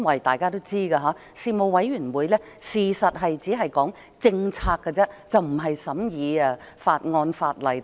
大家都知道，事務委員會其實只是負責討論政策，而不是審議法案、法例等。